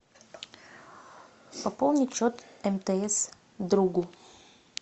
пополнить счет мтс другу